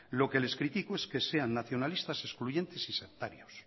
lo que les criticó es que sean nacionalistas excluyentes y sectarios